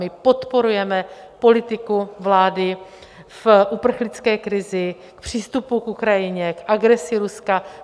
My podporujeme politiku vlády v uprchlické krizi, v přístupu k Ukrajině, k agresi Ruska.